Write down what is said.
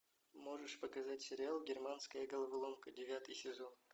можешь показать сериал германская головоломка девятый сезон